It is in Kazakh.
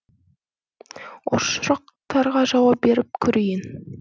осы сұрақтарға жауап беріп көрейін